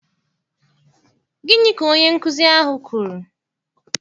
Gịnị ka onye nkụzi ahụ kwuru?